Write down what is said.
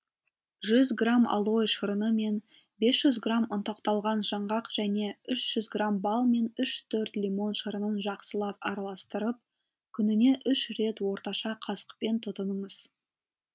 жүз грамм алоэ шырыны мен бес жүз грамм ұнтақталған жаңғақ және үш жүз бал мен үш төрт лимон шырынын жақсылап араластырып күніне үш рет орташа қасықпен тұтыныңыз